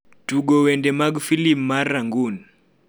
Tugo wende mag filim mar rangoon